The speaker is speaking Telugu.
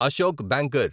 అశోక్ బ్యాంకర్